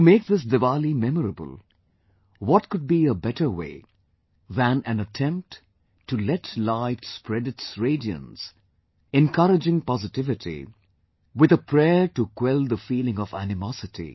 To make this Diwali memorable, what could be a better way than an attempt to let light spread its radiance, encouraging positivity, with a prayer to quell the feeling of animosity